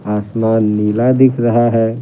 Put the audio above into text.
आसमान नीला दिख रहा है।